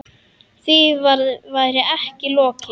Því væri ekki lokið.